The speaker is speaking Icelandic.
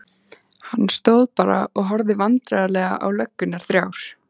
Hann stóð bara og horfði vandræðalega á löggurnar þrjár.